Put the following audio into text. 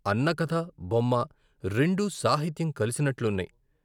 " అన్న కథ, బొమ్మ రెండూ సాహిత్యం కలిసినట్లున్నాయి.